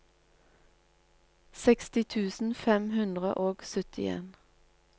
seksti tusen fem hundre og syttien